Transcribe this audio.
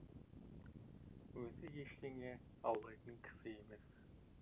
өзі ештеңе аулайтын кісі емес